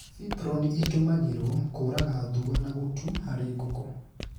Fiproni ĩtumagĩrwo kũraga thua na gũtu harĩ nguku